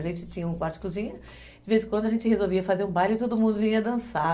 A gente tinha um quarto de cozinha, de vez em quando a gente resolvia fazer um baile e todo mundo vinha dançar.